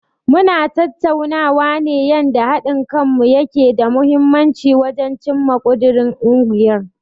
Mu na tattaunawa yanda haɗin kanmu yake da mahimmanci wajen cimma ƙudirin ungiyar.